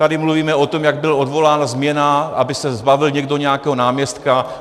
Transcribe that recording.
Tady mluvíme o tom, jak byl odvolán - změna - aby se zbavil někdo nějakého náměstka .